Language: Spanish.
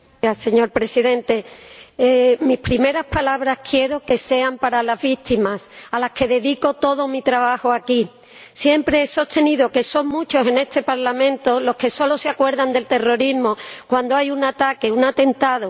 Señor Presidente, mis primeras palabras quiero que sean para las víctimas, a las que dedico todo mi trabajo aquí. Siempre he sostenido que son muchos en este Parlamento los que solo se acuerdan del terrorismo cuando hay un ataque, un atentado.